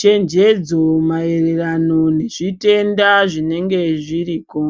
chenjedzo maererano nezvitenda zvinenge zviriko.